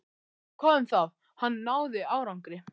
En hvað um það: hann náði árangri.